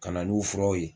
Ka na n'u furaw ye